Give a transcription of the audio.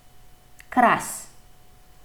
Kras.